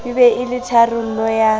be e le tharollo ya